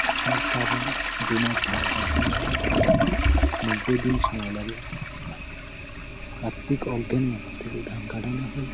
আষাঢ় শ্রাবণ দুমাস ধান চাষ করা হয় নব্বই দিন সময় লাগে কার্তিক অগ্রান মাস থেকে ধান কাটানো হয়।